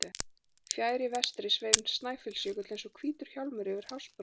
Fjær í vestri sveif Snæfellsjökull eins og hvítur hjálmur yfir hafsbrúninni.